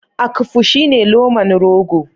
Akpu shine loman rogo.